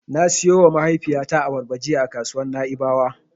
Na siyowa mahaifiyata abarba jiya a kasuwar Na'ibawa.